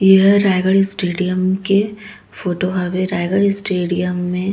ए हा रायगढ़ स्टेडियम के फोटो हवे रायगढ़ स्टेडियम मे --